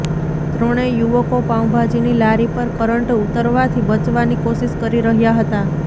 ત્રણેય યુવકો પાઉભાજીની લારી પર કરંટ ઉતરવાથી બચવાની કોશિશ કરી રહ્યાં હતાં